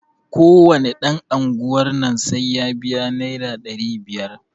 Ko wane ɗan unguwar nan sai ya biya naira ɗari biyar.